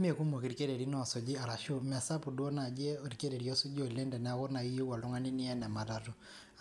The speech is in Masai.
Mee kunok irkererin iisuji arashu mee sapuk duo naaji orkereri osuuji olen' teneaku nayi iyieu oltung'ani neyen ematatu